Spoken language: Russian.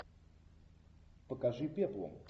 покажи пеплум